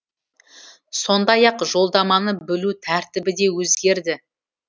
сондай ақ жолдаманы бөлу тәртібі де өзгерді